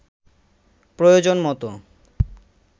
প্রয়োজনমতো